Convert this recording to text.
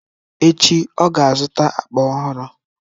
echi, ọ ga-azụta akpa ọhụrụ.